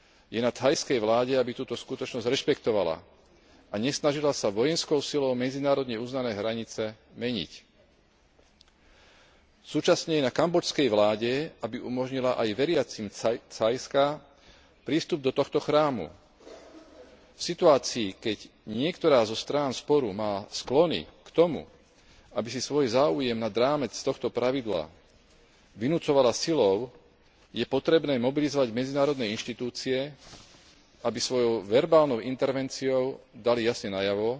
Je na thajskej vláde, aby túto skutočnosť rešpektovala a nesnažila sa vojenskou silou medzinárodne uznané hranice meniť. Súčasne je na kambodžskej vláde, aby umožnila aj veriacim Thajska prístup do tohto chrámu. V situácii, keď niektorá zo strán sporu má sklony k tomu, aby si svoj záujem nad rámec tohto pravidla vynucovala silou, je potrebné mobilizovať medzinárodné inštitúcie, aby svojou verbálnou intervenciou dali jasne najavo,